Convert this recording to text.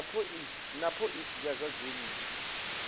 na phoisi ya zwa dzinnu